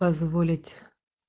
позволить